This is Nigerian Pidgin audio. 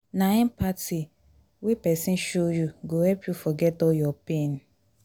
na empathy wey pesin show you go help you forget all your pain.